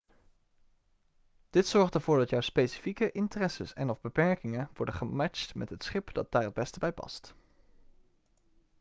dit zorgt ervoor dat jouw specifieke interesses en/of beperkingen worden gematcht met het schip dat daar het beste bij past